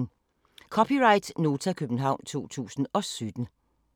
(c) Nota, København 2017